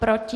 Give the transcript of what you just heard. Proti?